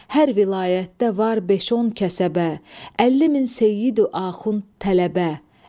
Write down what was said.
Hər vilayətdə var beş-on kəsəbə, əlli min seyyid-ü axund, tələbə.